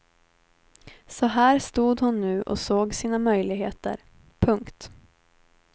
Så här stod hon nu och såg sina möjligheter. punkt